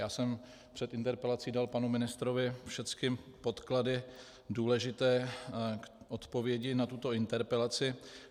Já jsem před interpelací dal panu ministrovi všechny podklady důležité k odpovědi na tuto interpelaci.